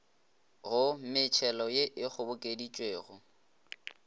go metšhelo ye e kgobokeditšwego